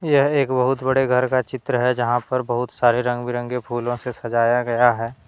यह एक बहुत बड़े घर का चित्र है जहाँ पर बहुत सारे रंग बिरंगे फूलों से सजाया गया है।